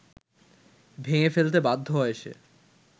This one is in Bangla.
ভেঙে ফেলতে বাধ্য হয় সে